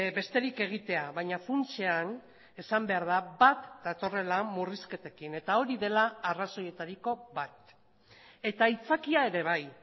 besterik egitea baina funtsean esan behar da bat datorrela murrizketekin eta hori dela arrazoietariko bat eta aitzakia ere bai